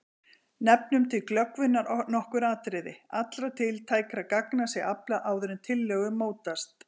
Nefnum til glöggvunar nokkur atriði: Allra tiltækra gagna sé aflað áður en tillögur mótast.